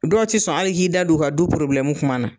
Dɔw ti sɔn hal'i k'i da don u ka du kuma na.